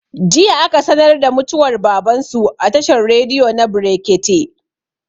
Jiya aka sanar da mutuwar baban su a tashar rediyo na brekete